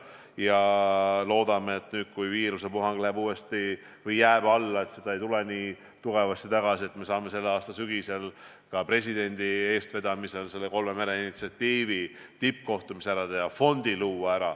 Ja loodame, et kui viirusepuhang enam nii tugevasti tagasi ei tule, siis me saame tänavu sügisel ka presidendi eestvedamisel kolme mere initsiatiivi tippkohtumise ära teha ja selle fondi luua.